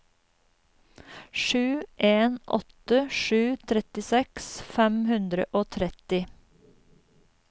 sju en åtte sju trettiseks fem hundre og tretti